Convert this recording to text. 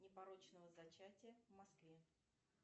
непорочного зачатия в москве